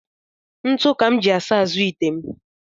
Ntụ ka m ji asa azụ ite m